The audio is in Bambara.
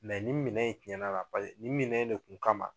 ni minɛn in tiɲɛna la nin minɛn de tun kama